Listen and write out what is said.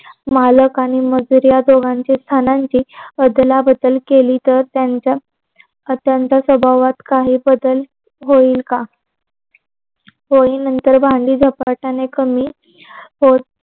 मालक आणि मजूर ला दोघांची स्थानांची अदला बदल केली तर त्यांच्यात त्यांच्या स्वभावात काही बदल होईल का? होईल नतर भांडे झपाट्याने कमी होत